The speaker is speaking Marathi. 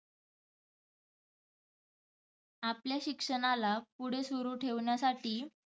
आपल्या शिक्षणाला पुढे सुरू ठेवण्यासाठी